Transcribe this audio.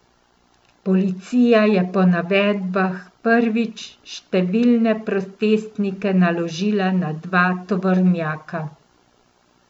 Policija je po navedbah prič številne protestnike naložila na dva tovornjaka.